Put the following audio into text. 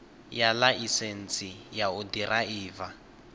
ya ḽaisentsi ya u ḓiraiva